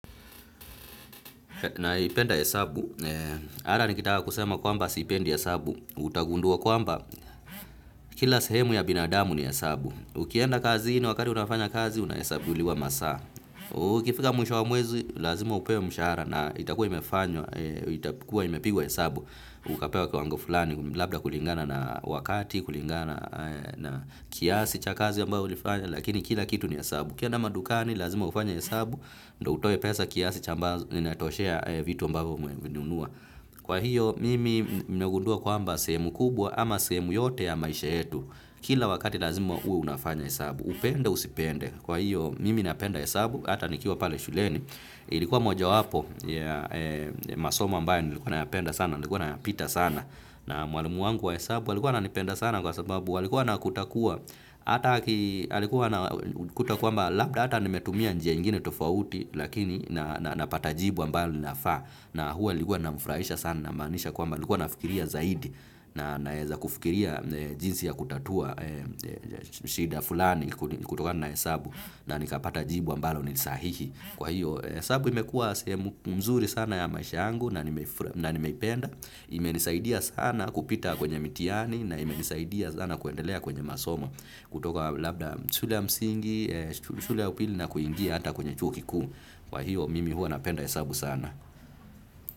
Naipenda hesabu, hata nikitaka kusema kwamba sipendi hesabu, utagundua kwamba kila sehemu ya binadamu ni hesabu. Ukienda kazini wakati unafanya kazi, unahesabuliwa masaa. Ukifika mwisho wa mwezi, lazima upewe mshahara na itakuwa imefanywa, itakuwa imepigwa hesabu. Ukapewa kiwango fulani, labda kulingana na wakati, kulingana na kiasi cha kazi ambayo ulifanya, lakini kila kitu ni hesabu. Ukienda madukani lazima ufanye hesabu, ndo utoe pesa kiasi cha ambazo inatoshea vitu ambavyo umevinunua. Kwa hiyo, mimi nimegundua kwamba sehemu kubwa ama sehemu yote ya maisha yetu. Kila wakati lazima uwe unafanya hesabu, upende, usipende. Kwa hiyo, mimi napenda hesabu, ata nikiwa pale shuleni. Ilikuwa mojawapo ya masomo ambayo nilikuwa nayapenda sana, nilikuwa napita sana. Na mwalimu wangu wa hesabu, alikuwa ananipenda sana kwa sababu, alikuwa anakuta kwamba, labda hata nimetumia njia ingine tofauti, lakini napata jibu ambalo linafaa, na huwa namfurahisha sana inaamanisha kwamba nilikuwa nafikiria zaidi, na naweza kufikiria jinsi ya kutatua, shida fulani kutokana na hesabu, na nikapata jibu ambalo ni sahihi. Kwa hiyo, hesabu imekuwa sehemu mzuri sana ya maisha yangu na nimeipenda. Imenisaidia sana kupita kwenye mitihani na imenisaidia sana kuendelea kwenye masomo. Kutoka labda shule ya msingi, shule ya upili na kuingia hata kwenye chuo kikuu. Kwa hiyo, mimi huwa napenda hesabu sana.